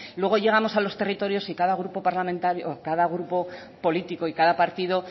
luego llegamos a los territorios y cada grupo político y cada partido